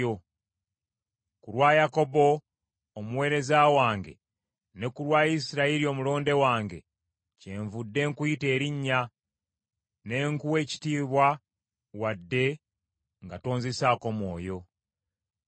Ku lwa Yakobo omuweereza wange ne ku lwa Isirayiri omulonde wange kyenvudde nkuyita erinnya, ne nkuwa ekitiibwa wadde nga tonzisaako mwoyo.